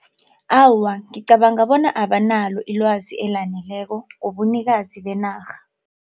Awa, ngicabanga bona abanalo ilwazi elaneleko ngobunikazi benarha.